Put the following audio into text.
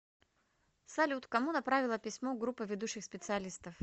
салют кому направила письмо группа ведущих специалистов